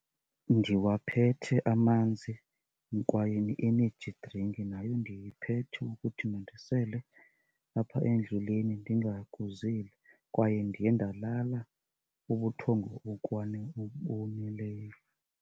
Ndiwaphethe amanzi kwaye ne-energy drink nayo ndiyiphethe ukuthi mandisele apha endleleni ndingakuzeli kwaye ndiye ndalala ubuthongo oboneleyo.